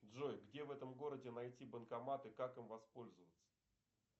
джой где в этом городе найти банкомат и как им воспользоваться